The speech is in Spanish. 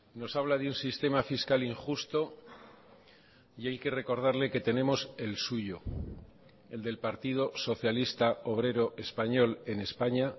nos habla de un sistema fiscal injusto y hay que recordarle que tenemos el suyo el del partido socialista obrero español en españa